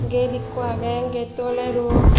get ikko agey getto ole ruo.